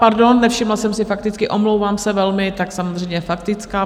Pardon, nevšimla jsem si faktické, omlouvám se velmi, tak samozřejmě faktická.